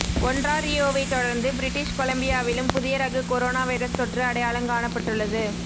ஒன்றாரியோவைத் தொடர்ந்து பிரிட்டிஷ் கொலம்பியாவிலும் புதிய ரக கொரோனா வைரஸ் தொற்று அடையாளங் காணப்பட்டுள்ளது